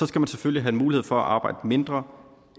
skal man selvfølgelig have mulighed for at arbejde mindre